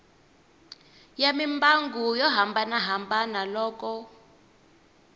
ya mimbangu yo hambanahambana loko